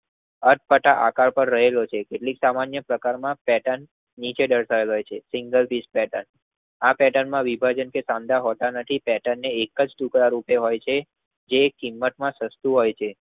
અટપટા આકાર પાર રહેલો છે. કેટલીક સામાન્ય પ્રકારમાં પેર્ટન નીચે દરસાવાય છે. સિંગલ પીસી પેર્ટન આ પેર્ટન માં વિભાજન કે કંડાર હોતા નથી પેટનને એકજ ટુકડા રૂપે હોય છે. જે કિંમતમાં સસ્તું હોય છે.